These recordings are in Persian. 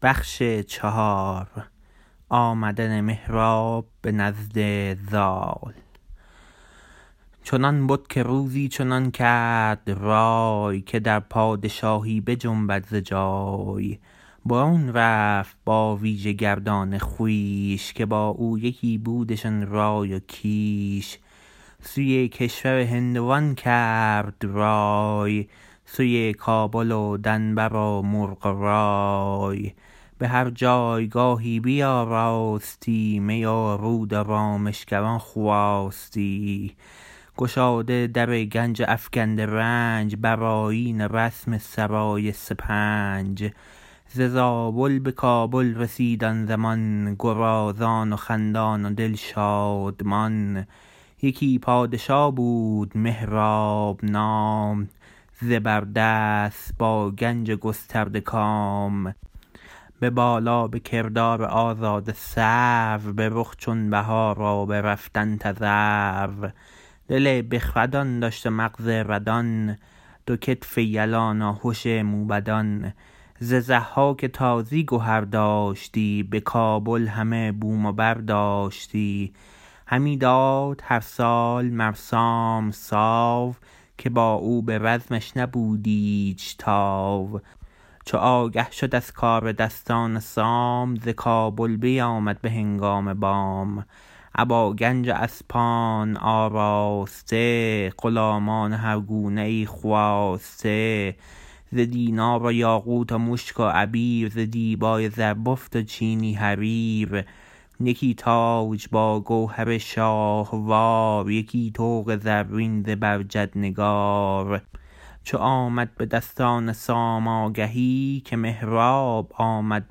چنان بد که روزی چنان کرد رای که در پادشاهی بجنبد ز جای برون رفت با ویژه گردان خویش که با او یکی بودشان رای و کیش سوی کشور هندوان کرد رای سوی کابل و دنبر و مرغ و مای به هر جایگاهی بیاراستی می و رود و رامشگران خواستی گشاده در گنج و افگنده رنج بر آیین و رسم سرای سپنج ز زابل به کابل رسید آن زمان گرازان و خندان و دل شادمان یکی پادشا بود مهراب نام زبر دست با گنج و گسترده کام به بالا به کردار آزاده سرو به رخ چون بهار و به رفتن تذرو دل بخردان داشت و مغز ردان دو کتف یلان و هش موبدان ز ضحاک تازی گهر داشتی به کابل همه بوم و برداشتی همی داد هر سال مر سام ساو که با او به رزمش نبود ایچ تاو چو آگه شد از کار دستان سام ز کابل بیامد به هنگام بام ابا گنج و اسپان آراسته غلامان و هر گونه ای خواسته ز دینار و یاقوت و مشک و عبیر ز دیبای زربفت و چینی حریر یکی تاج با گوهر شاهوار یکی طوق زرین زبرجد نگار چو آمد به دستان سام آگهی که مهراب آمد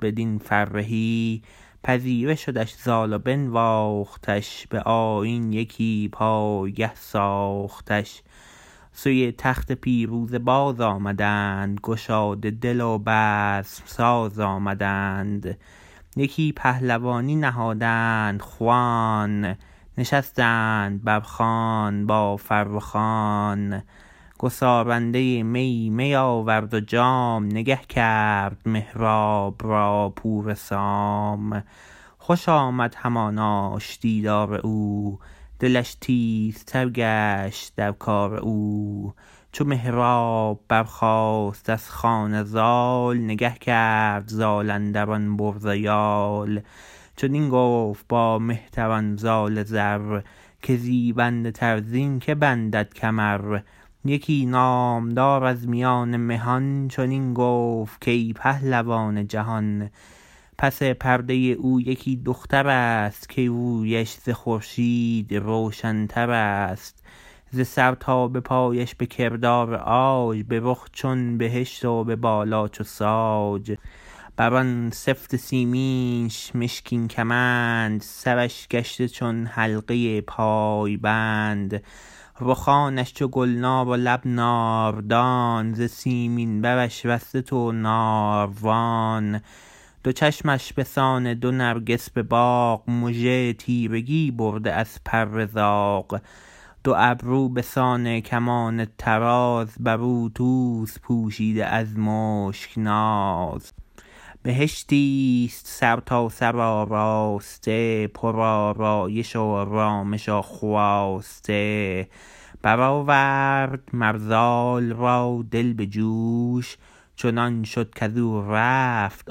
بدین فرهی پذیره شدش زال و بنواختش به آیین یکی پایگه ساختش سوی تخت پیروزه باز آمدند گشاده دل و بزم ساز آمدند یکی پهلوانی نهادند خوان نشستند بر خوان با فرخان گسارنده می می آورد و جام نگه کرد مهراب را پور سام خوش آمد هماناش دیدار او دلش تیز تر گشت در کار او چو مهراب برخاست از خوان زال نگه کرد زال اندر آن برز و یال چنین گفت با مهتران زال زر که زیبنده تر زین که بندد کمر یکی نامدار از میان مهان چنین گفت کای پهلوان جهان پس پرده او یکی دخترست که رویش ز خورشید روشن ترست ز سر تا به پایش به کردار عاج به رخ چون بهشت و به بالا چو ساج بر آن سفت سیمنش مشکین کمند سرش گشته چون حلقه پای بند رخانش چو گلنار و لب ناردان ز سیمین برش رسته دو ناروان دو چشمش به سان دو نرگس به باغ مژه تیرگی برده از پر زاغ دو ابرو به سان کمان طراز بر او توز پوشیده از مشک ناز بهشتیست سرتاسر آراسته پر آرایش و رامش و خواسته برآورد مر زال را دل به جوش چنان شد کزو رفت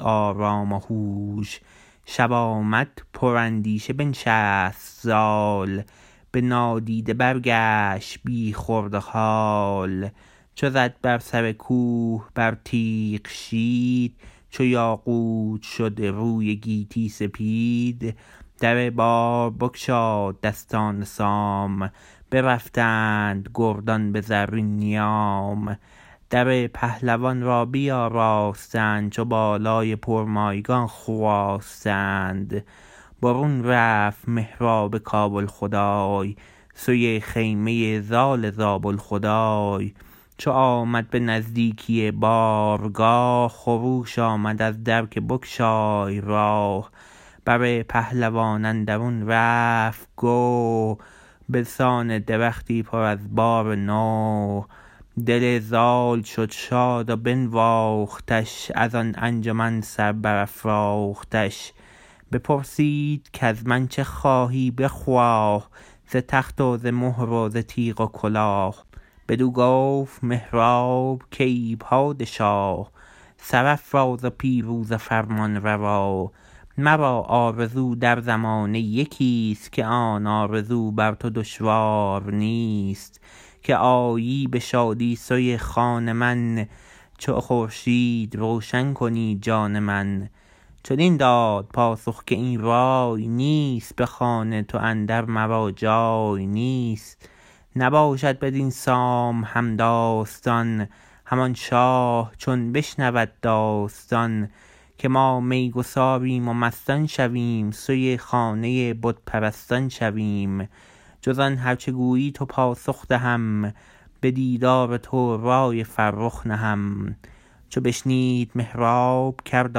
آرام وهوش شب آمد پر اندیشه بنشست زال به نادیده برگشت بی خورد و هال چو زد بر سر کوه بر تیغ شید چو یاقوت شد روی گیتی سپید در بار بگشاد دستان سام برفتند گردان به زرین نیام در پهلوان را بیاراستند چو بالای پرمایگان خواستند برون رفت مهراب کابل خدای سوی خیمه زال زابل خدای چو آمد به نزدیکی بارگاه خروش آمد از در که بگشای راه بر پهلوان اندرون رفت گو به سان درختی پر از بار نو دل زال شد شاد و بنواختش از آن انجمن سر برافراختش بپرسید کز من چه خواهی بخواه ز تخت و ز مهر و ز تیغ و کلاه بدو گفت مهراب کای پادشا سرافراز و پیروز و فرمان روا مرا آرزو در زمانه یکیست که آن آرزو بر تو دشوار نیست که آیی به شادی سوی خان من چو خورشید روشن کنی جان من چنین داد پاسخ که این رای نیست به خان تو اندر مرا جای نیست نباشد بدین سام همداستان همان شاه چون بشنود داستان که ما می گساریم و مستان شویم سوی خانه بت پرستان شویم جز آن هر چه گویی تو پاسخ دهم به دیدار تو رای فرخ نهم چو بشنید مهراب کرد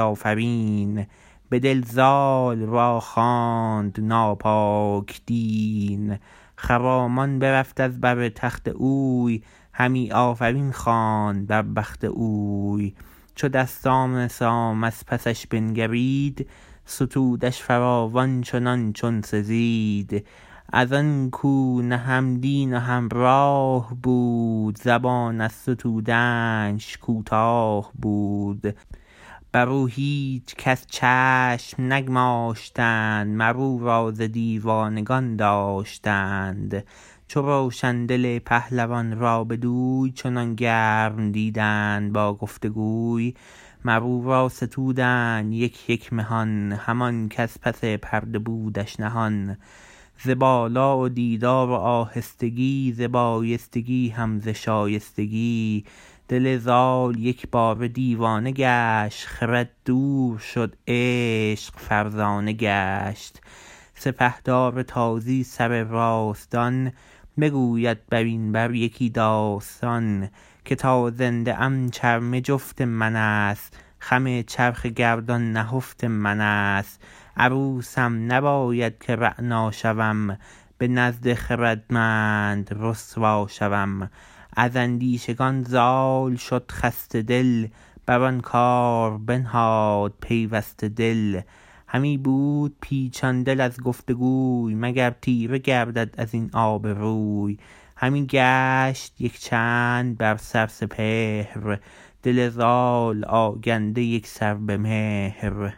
آفرین به دل زال را خواند ناپاک دین خرامان برفت از بر تخت اوی همی آفرین خواند بر بخت اوی چو دستان سام از پسش بنگرید ستودش فراوان چنان چون سزید از آن کو نه هم دین و هم راه بود زبان از ستودنش کوتاه بود بر او هیچکس چشم نگماشتند مر او را ز دیوانگان داشتند چو روشن دل پهلوان را بدوی چنان گرم دیدند با گفت وگوی مر او را ستودند یک یک مهان همان کز پس پرده بودش نهان ز بالا و دیدار و آهستگی ز بایستگی هم ز شایستگی دل زال یکباره دیوانه گشت خرد دور شد عشق فرزانه گشت سپهدار تازی سر راستان بگوید بر این بر یکی داستان که تا زنده ام چرمه جفت منست خم چرخ گردان نهفت منست عروسم نباید که رعنا شوم به نزد خردمند رسوا شوم از اندیشگان زال شد خسته دل بر آن کار بنهاد پیوسته دل همی بود پیچان دل از گفت وگوی مگر تیره گردد از این آبروی همی گشت یک چند بر سر سپهر دل زال آگنده یکسر به مهر